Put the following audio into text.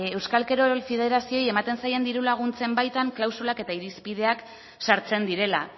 euskal kirol federazioei ematen zaien diru laguntzen baitan klausula eta irispideak sartzen direla